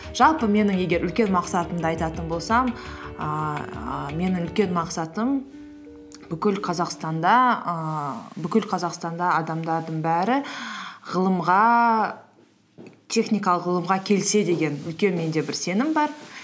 жалпы менің егер үлкен мақсатымды айтатын болсам ііі менің үлкен мақсатым бүкіл қазақстанда ііі бүкіл қазақстанда адамдардың бәрі техникалық ғылымға келсе деген үлкен менде бір сенім бар